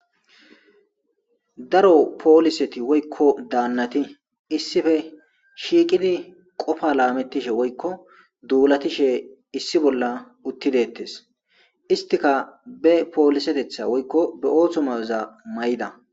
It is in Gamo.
daro pooliseti woykko daannati issife shiikidi qofa laamettishe woykko duulatishe issi bolla uttideettes istika be poolisetetha woykko be ooththomaza may7da